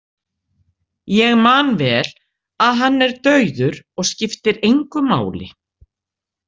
Ég man vel að hann er dauður og skiptir engu máli.